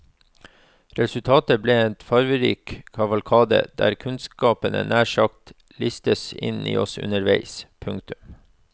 Resultatet blir en farverik kavalkade der kunnskapene nær sagt listes inn i oss underveis. punktum